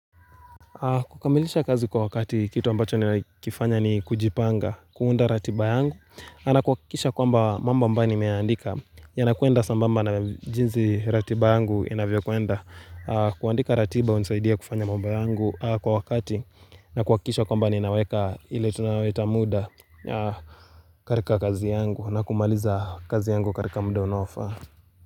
Kukamilisha kazi kwa wakati kitu ambacho ninakifanya ni kujipanga, kuunda ratiba yangu na kuhakikisha kwamba mambo ambayo ni meandika Yanakwenda sambamba na jinsi ratiba yangu inavyo kwenda kuandika ratiba hunisaidia kufanya mamba yangu kwa wakati na kuhakikisha kwamba ni naweka ile tunaita muda katika kazi yangu na kumaliza kazi yangu katika muda unaofaa.